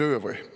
Öö või?